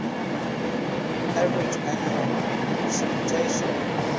average annual precipitation